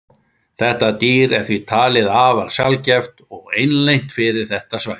þetta dýr er því talið afar sjaldgæft og einlent fyrir þetta svæði